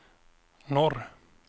norr